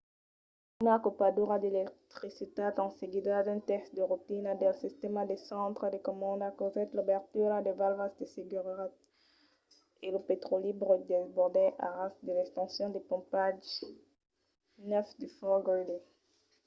una copadura d’electricitat en seguida d'un test de rotina del sistèma de centre de comanda causèt l'obertura de valvas de seguretat e lo petròli brut desbordèt a ras de l’estacion de pompatge 9 de fort greely